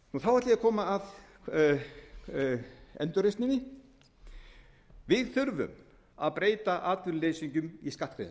ætla ég að koma að endurreisninni við þurfum að breyta atvinnuleysingjum í skattgreiðendur það er